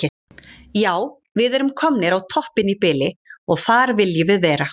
Já við erum komnir á toppinn í bili og þar viljum við vera.